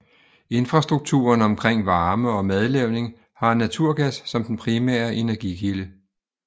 Infrastrukturen omkring varme og madlavning har naturgas som den primære energikilde